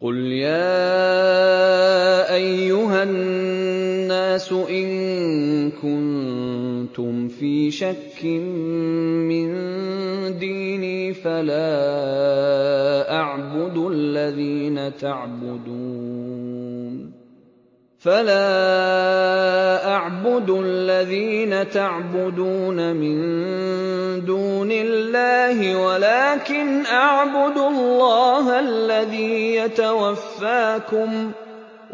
قُلْ يَا أَيُّهَا النَّاسُ إِن كُنتُمْ فِي شَكٍّ مِّن دِينِي فَلَا أَعْبُدُ الَّذِينَ تَعْبُدُونَ مِن دُونِ اللَّهِ وَلَٰكِنْ أَعْبُدُ اللَّهَ الَّذِي يَتَوَفَّاكُمْ ۖ